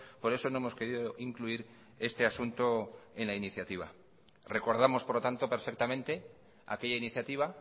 por eso no hemos querido incluir este asunto en la iniciativa recordamos por lo tanto perfectamente aquella iniciativa